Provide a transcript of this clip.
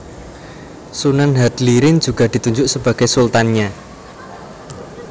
Sunan Hadlirin juga ditunjuk Sebagai Sultanya